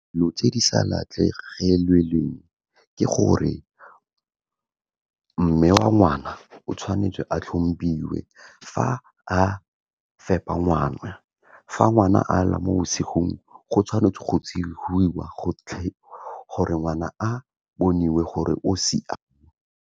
Dilo tse di sa ke gore mme wa ngwana o tshwanetse a tlhompiwe, fa a fepa ngwana, fa ngwana a lela mo bosigong go tshwanetse go tsogiwa gore ngwana a boniwe gore o siame.